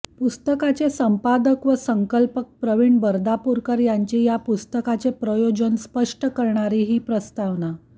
पुस्तकाचे संपादक आणि संकल्पक प्रवीण बर्दापूरकर यांची या पुस्तकाचे प्रयोजन स्पष्ट करणारी ही प्रस्तावना